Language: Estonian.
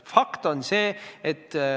Fakt on see ...